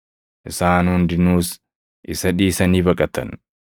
Isaan hundinuus isa dhiisanii baqatan.